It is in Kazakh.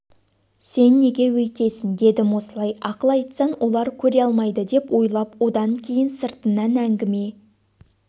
сен неге өйтесің дедім осылай ақыл айтсаң олар көре алмайды деп ойлап одан кейін сыртыңнан әңгіме